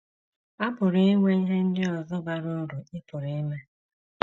A pụrụ inwe ihe ndị ọzọ bara uru ị pụrụ ime.